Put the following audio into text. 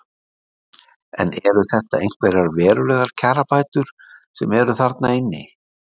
Lillý: En eru þetta einhverjar verulegar kjarabætur sem eru þarna inni?